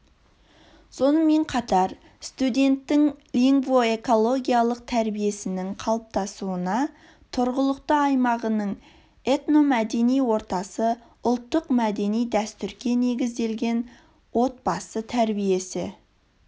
сонымен қатар студенттің лингвоэкологиялық тәрбиесінің қалыптасуына тұрғылықты аймағының этномәдени ортасы ұлттық-мәдени дәстүрге негізделген отбасы тәрбиесі